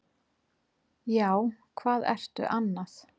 Já, hvað ertu annað?